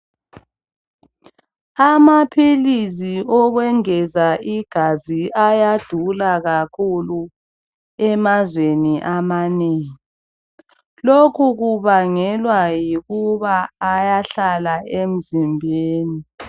Amaphilisi okwengeza igazi ayadula kakhulu emazweni amanengi lokhu kubangelwa yikuba ayahlala emzimbeni.